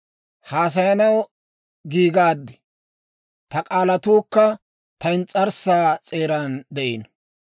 Haasayanaw giigaad; ta k'aalatuukka ta ins's'arssaa s'eeran de'iino.